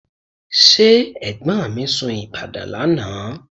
Ṣé ẹ̀gbọ́n mi sun Ìbàdàn lánàá?